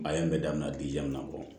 A ye n bɛ daminɛ bɔ